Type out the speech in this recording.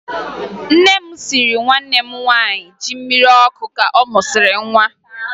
Nne m siiri nwanne m nwaanyị ji mmiri ọkụ ka ọ mụsịrị nwa